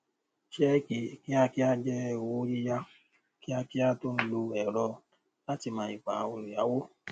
sẹẹkì kíákíá jẹ owó yíyá kíákíá tó ń lo ẹrọ láti mọ ìwà olùyáwó